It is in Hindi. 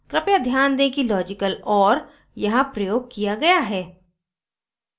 कृपया ध्यान दें कि logical or यहाँ प्रयोग किया गया है